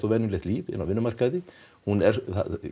í eðlilegt líf inn á vinnumarkaðinn hún er